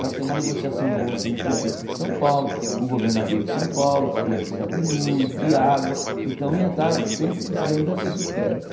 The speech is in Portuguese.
Para ter uma negociação boa com o prefeito de São Paulo, com o governador de São Paulo, porque ia precisar de luz, de água, então ia estar sempre precisando dessas esferas.